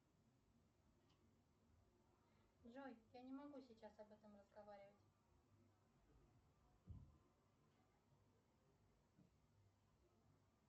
джой я не могу сейчас об этом разговаривать